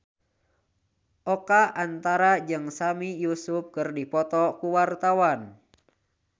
Oka Antara jeung Sami Yusuf keur dipoto ku wartawan